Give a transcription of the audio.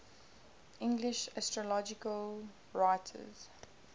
english astrological writers